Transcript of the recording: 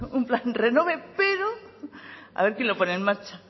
un plan renove pero a ver quién lo pone en marcha